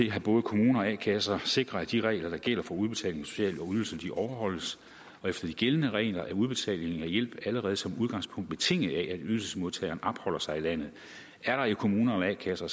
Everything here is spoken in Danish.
at både kommuner og a kasser sikrer at de regler der gælder for udbetaling af sociale ydelser overholdes og efter de gældende regler er udbetaling af hjælp allerede som udgangspunkt betinget af at ydelsesmodtageren opholder sig i landet er der i kommuner eller a kasser